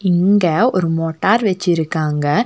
இங்க ஒரு மோட்டார் வச்சிருக்காங்க.